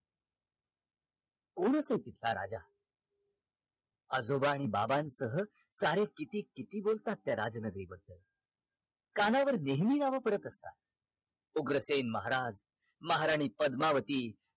कोण असेल तिथला राजा? आजोबा आणि बाबांसह सारे किती किती बोलतात त्या राज नगरीबद्दल कानावर नेहमी नाव पडत असतात उग्रसेन महाराज महाराणी पद्मावती